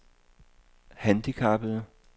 handicappede